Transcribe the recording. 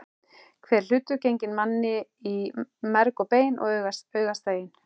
Hver hlutur genginn manni í merg og bein og augastein.